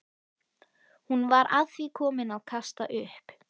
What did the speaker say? Hún var að því komin að kasta upp.